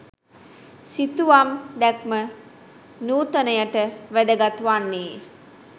සිතුවම් දැක්ම නූතනයට වැදගත් වන්නේ